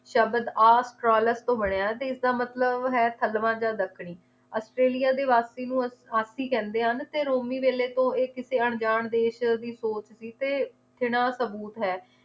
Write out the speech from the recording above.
ਸ਼ਬਦ ਆ ਕਾਲਕ ਤੋਂ ਬਣਿਆ ਤੇ ਇਸਦਾ ਮਤਲਬ ਹੈ ਥਲਵਾਂ ਜਾਂ ਦੱਖਣੀ ਔਸਟ੍ਰੇਲਿਆ ਦੇ ਵਾਸੀ ਨੂੰ ਕਹਿੰਦੇ ਹਨ ਤੇ ਰੋਮੀ ਵੇਹਲੇ ਤੋਂ ਇਹ ਕਿਸੇ ਅਣਜਾਣ ਦੇਸ਼ ਦੀ ਸੋਚ ਸੀ ਤੇ ਸਬੂਤ ਹੈ